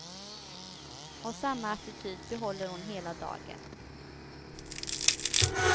Och samma attityd behåller hon hela dagen.